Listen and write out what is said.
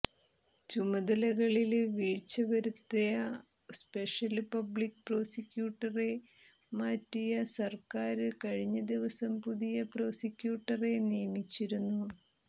ചുമതലകളില് വീഴ്ച വരുത്ത special public പ്രോസിക്യുട്ടറെ മാറ്റിയ സര്കക്ാര് കഴിഞ്ഞ ദിവസം പുതിയ പ്രോസിക്യൂട്ടറെ നിയമിച്ചിരുന്നു